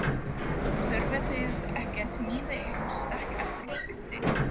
Þurfið þið ekki að sníða ykkur stakk eftir vexti?